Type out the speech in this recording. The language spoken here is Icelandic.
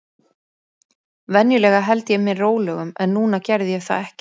Venjulega held ég mér rólegum, en núna gerði ég það ekki.